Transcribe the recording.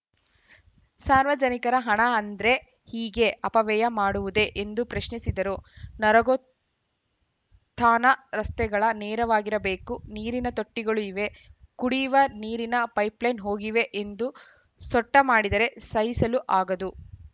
ಸಾರ್ವಜನಿಕರ ಹಣ ಅಂದ್ರೆ ಹೀಗೆ ಅಪವ್ಯಯ ಮಾಡುವುದೇ ಎಂದು ಪ್ರಶ್ನಿಸಿದರು ನರಗುತಾಣ ರಸ್ತೆಗಳ ನೇರವಾಗಿರಬೇಕು ನೀರಿನ ತೊಟ್ಟಿಗಳು ಇವೆ ಕುಡಿವ ನೀರಿನ ಪೈಪ್‌ಲೈನ್‌ ಹೋಗಿವೆ ಎಂದು ಸೊಟ್ಟಮಾಡಿದರೆ ಸಹಿಸಲು ಆಗದು